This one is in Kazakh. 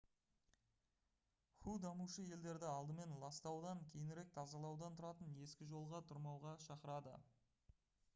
ху дамушы елдерді «алдымен ластаудан кейінірек тазалаудан тұратын ескі жолға тұрмауға» шақырды